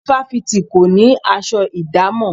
Ifáfìti kò ní aṣọ ìdámọ̀.